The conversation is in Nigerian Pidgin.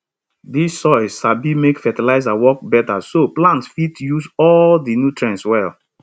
dis soil sabi make fertilizer work better so plants fit use all di nutrients well